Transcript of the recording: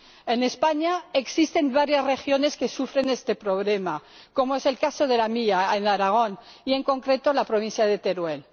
En España existen varias regiones que sufren este problema, como es el caso de la mía, Aragón, y, en concreto, la provincia de Teruel.